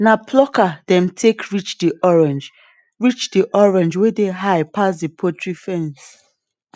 na plucker dem take reach the orange reach the orange wey dey high pass the poultry fence